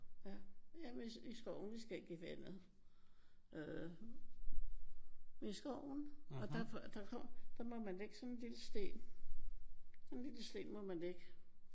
Ja. Jamen i skoven. Vi skal ikke i vandet. Øh i skoven og der kommer der må man lægge sådan en lille sten. Sådan en lille sten må man lægge